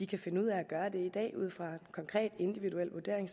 kan finde ud af at gøre det i dag ud fra en konkret individuel vurdering